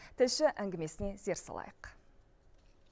тілші әңгімесіне зер салайық